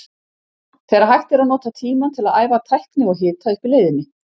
Þegar hægt er að nota tímann til að æfa tækni og hita upp í leiðinni.